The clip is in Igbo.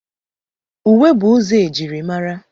Uwe bụ ụzọ e jiri mara.